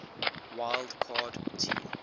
wild card team